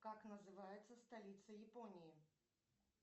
как называется столица японии